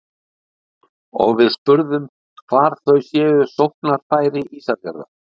Og við spurðum hvar þau séu sóknarfæri Ísafjarðar?